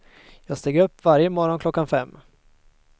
Jag steg upp varje morgon klockan fem.